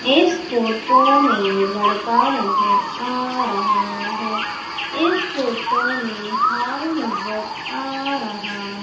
इस फोटो में लड़का नजर आ रहा है इस फोटो में हॉल नजर आ रहा--